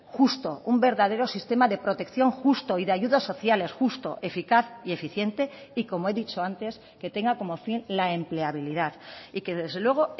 justo un verdadero sistema de protección justo y de ayudas sociales justo eficaz y eficiente y como he dicho antes que tenga como fin la empleabilidad y que desde luego